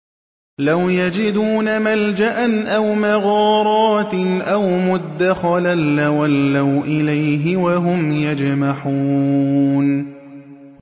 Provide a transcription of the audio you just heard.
لَوْ يَجِدُونَ مَلْجَأً أَوْ مَغَارَاتٍ أَوْ مُدَّخَلًا لَّوَلَّوْا إِلَيْهِ وَهُمْ يَجْمَحُونَ